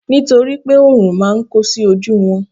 nitoripe orun ma n ko sí oju won